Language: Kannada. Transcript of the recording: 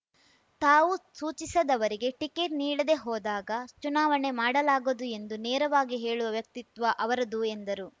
ತಾವು ಸೂಚಿಸದವರಿಗೆ ಟಿಕೆಟ್‌ ನೀಡದೆ ಹೋದಾಗ ಚುನಾವಣೆ ಮಾಡಲಾಗದು ಎಂದು ನೇರವಾಗಿ ಹೇಳುವ ವ್ಯಕ್ತಿತ್ವ ಅವರದು ಎಂದರು